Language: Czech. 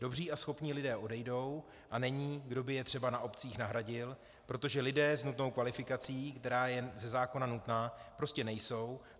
Dobří a schopní lidé odejdou a není, kdo by je třeba na obcích nahradil, protože lidé s nutnou kvalifikací, která je ze zákona nutná, prostě nejsou.